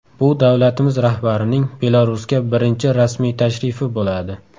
Bu davlatimiz rahbarining Belarusga birinchi rasmiy tashrifi bo‘ladi.